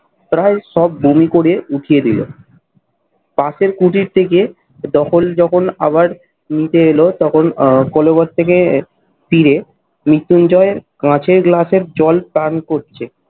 প্রায় সব বমি করে উঠিয়ে দিল। পাশের কুটির থেকে দখল যখন আবার নিতে এল তখন কলবর থেকে ফিরে মৃত্যুঞ্জয় এর কাঁচের গ্লাসের জল পান করছে।